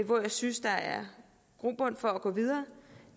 hvor jeg synes der er grobund for at gå videre